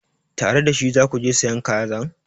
Tare da shi za ku je sayan kazan?